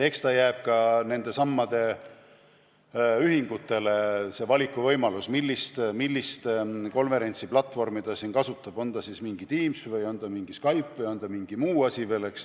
Ja eks nendelesamadele ühingutele jääb valikuvõimalus, millist konverentsiplatvormi nad kasutavad, on see siis Teams või on see Skype või on see mingi muu.